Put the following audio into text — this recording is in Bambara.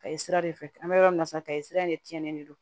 Ka ye sira de fɛ an bɛ yɔrɔ min sisan kayi sira in de tiɲɛnen de don